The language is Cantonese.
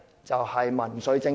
就是民粹政治。